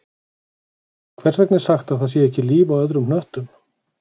Hvers vegna er sagt að það sé ekki líf á öðrum hnöttum?